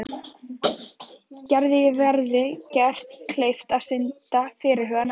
Gerði verði gert kleift að stunda fyrirhugað nám.